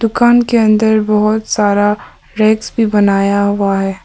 कान के अंदर बहुत सारा रैक्स भी बनाया हुआ है।